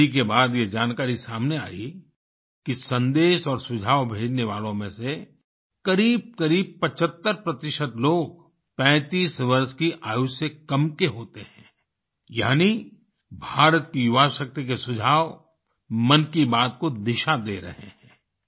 study के बाद ये जानकारी सामने आई कि संदेश और सुझाव भेजने वालों में से करीबकरीब 75 प्रतिशत लोग 35 वर्ष की आयु से कम के होते हैं यानि भारत की युवा शक्ति के सुझाव मन की बात को दिशा दे रहे हैं